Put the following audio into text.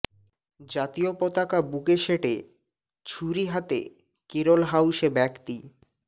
জাতীয় পতাকা বুকে সেটে ছুরি হাতে কেরল হাউসে ব্যক্তি